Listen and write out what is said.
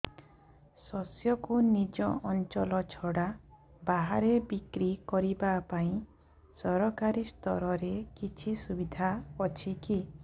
ଶସ୍ୟକୁ ନିଜ ଅଞ୍ଚଳ ଛଡା ବାହାରେ ବିକ୍ରି କରିବା ପାଇଁ ସରକାରୀ ସ୍ତରରେ କିଛି ସୁବିଧା ଅଛି କି